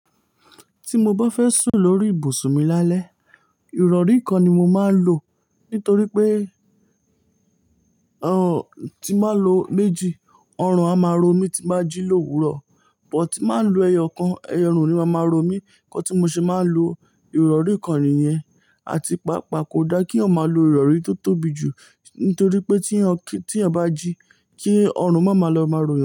Tí mo bá fẹ́ sùn lórí ibùsùn mi lálẹ́, ìrọrí kan ni mo máa ń lò. Nítorí pé, n tí máa lo méjì, ọrùn a máa ro mí tí bá jí lówurọ̀. But tí máa ń lo ẹyọ kan, ẹyọ orùn oni máa máa ro mí. Nkan tí mo ṣe máa ń lo ìrọrí kàn niyẹn, àti pàápàá kò da kí eyan ma lo ìrọrí tó tóbi jù. Nítorí pé tí eyan bá jí, kí ọrùn má máa lọ máa ro yan.